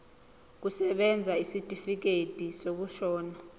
kusebenza isitifikedi sokushona